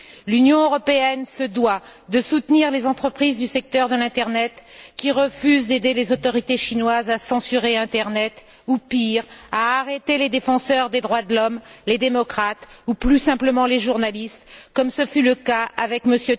L'Union européenne se doit de soutenir les entreprises du secteur de l'internet qui refusent d'aider les autorités chinoises à censurer l'internet ou, pire, à arrêter les défenseurs des droits de l'homme, les démocrates ou, plus simplement, les journalistes, comme ce fut le cas avec M.